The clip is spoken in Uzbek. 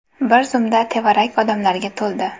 Bir zumda tevarak odamlarga to‘ldi.